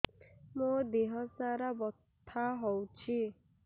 ମୋ ଦିହସାରା ବଥା ହଉଚି